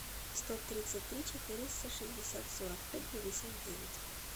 сто тридцать три четыреста шестьдесят сорок пять пятьдесят девять